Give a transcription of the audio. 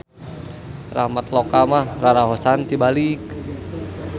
Ramatloka mah raraosan tibalik.